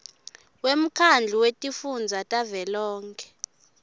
wemkhandlu wetifundza tavelonkhe